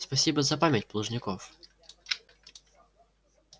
спасибо за память плужников